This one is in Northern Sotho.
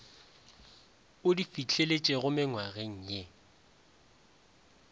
o di fihleletšego mengwageng ye